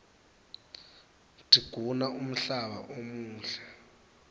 tiguna umhlaba umuhle